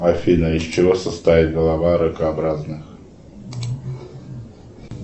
афина из чего состоит голова ракообразных